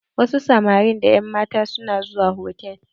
Wasu samarin da ƴan matan su na zuwa hotal.